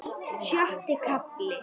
Sjötti kafli